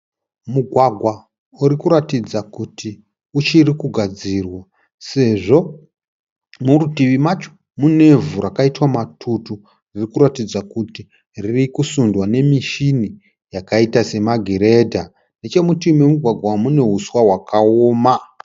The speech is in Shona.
Mugwagwa uri kuratidza kuti uchiri kugadzirwa sezvo murutivi macho munevhu rakaitwa matutu riri kuratidza kuti riri kusundwa nemishini yakaita semagiredha. Nechemuruti mumugwagwa umu mune huswa hwakaoma.